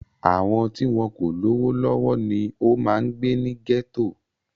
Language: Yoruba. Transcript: Àwọn tí wọn kò lówó lọ́wọ́ ni ó máa ń gbé ní gẹ́tò